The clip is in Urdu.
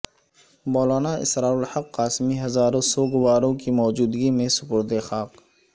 مولانا اسرارالحق قاسمی ہزاروں سوگواروں کی موجودگی میں سپرد خاک